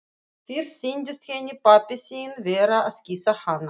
Fyrst sýndist henni pabbi sinn vera að kyssa hana.